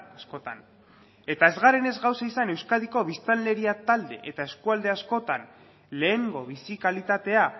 askotan eta ez garenez gauza izan euskadiko biztanleria talde eta eskualde askotan lehengo bizi kalitatea